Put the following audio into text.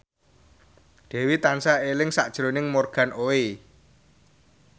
Dewi tansah eling sakjroning Morgan Oey